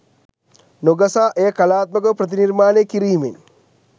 නො ගසා එය කලාත්මක ව ප්‍රතිනිර්මාණය කිරීමෙන්